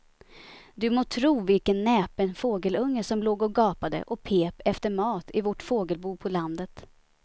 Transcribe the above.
Du må tro vilken näpen fågelunge som låg och gapade och pep efter mat i vårt fågelbo på landet.